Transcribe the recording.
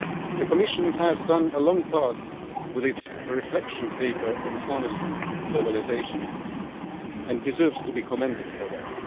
The Commission has gone a long way with its reflection paper on harnessing globalisation and deserves to be commended for that.